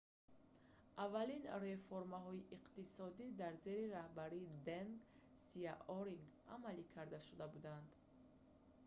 аввалин реформаҳои иқтисодӣ дар зери роҳбарии денг сияоринг амалӣ карда шуда буданд